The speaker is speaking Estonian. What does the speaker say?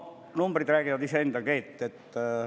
Numbrid räägivad iseenda eest.